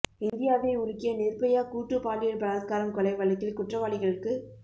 இந்தியாவை உலுக்கிய நிர்பயா கூட்டு பாலியல் பலாத்காரம் கொலை வழக்கில் குற்றவாளிகளுக்கு